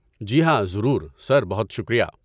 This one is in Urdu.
جی ہاں، ضرور، سر، بہت شکریہ۔